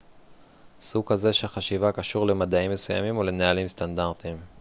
סוג כזה של חשיבה קשור למדעים מסוימים או לנהלים סטנדרטיים